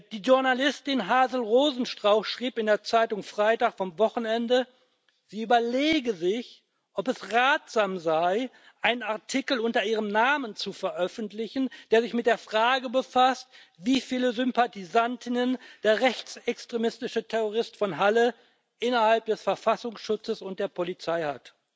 Die Journalistin Hazel Rosenstrauch schrieb in der Zeitung der Freitag vom Wochenende, sie überlege sich, ob es ratsam sei, einen Artikel unter ihrem Namen zu veröffentlichen, der sich mit der Frage befasst, wie viele Sympathisantinnen und Sympathisanten der rechtsextremistische Terrorist von Halle innerhalb des Verfassungsschutzes und der Polizei hat.